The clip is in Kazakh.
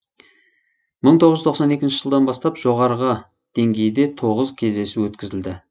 мың тоғыз жүз тоқсан екінші жылдан бастап жоғарғы деңгейде тоғыз кездесу өткізілді